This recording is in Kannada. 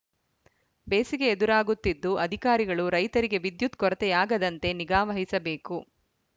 ಬೇಸಿಗೆ ಎದುರಾಗುತ್ತಿದ್ದು ಅಧಿಕಾರಿಗಳು ರೈತರಿಗೆ ವಿದ್ಯುತ್‌ ಕೊರತೆಯಾಗದಂತೆ ನಿಗಾ ವಹಿಸಬೇಕು